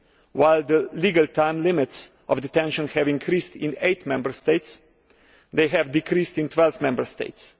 While the legal time limits for detention have increased in eight Member States, they have decreased in 12 Member States.